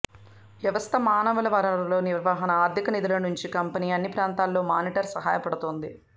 వ్యవస్థ మానవ వనరుల నిర్వహణ ఆర్థిక నిధుల నుంచి కంపెనీ అన్ని ప్రాంతాల్లో మానిటర్ సహాయపడుతుంది